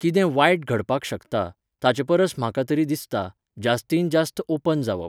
कितें वायटय घडपाक शकता, ताचेपरस म्हाका तरी दिसता, जास्तींत जास्त ओपन जावप.